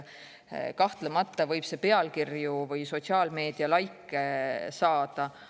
Kahtlemata võib selle abil häid pealkirju või sotsiaalmeedias laike saada.